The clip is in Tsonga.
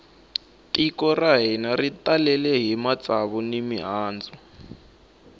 tiko ra hina ri talele hi matsava ni mihandzu